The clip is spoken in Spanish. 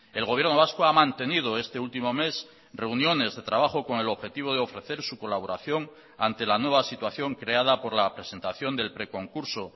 el gobierno vasco ha mantenido este último mes reuniones de trabajo con el objetivo de ofrecer su colaboración ante la nueva situación creada por la presentación del preconcurso